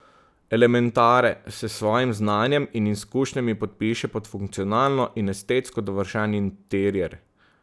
Elementare se s svojim znanjem in izkušnjami podpiše pod funkcionalno in estetsko dovršen interier.